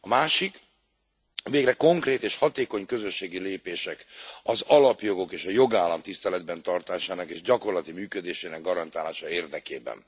A másik végre konkrét és hatékony közösségi lépések az alapjogok és a jogállam tiszteletben tartásának és gyakorlati működésének garantálása érdekében.